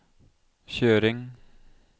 kjøring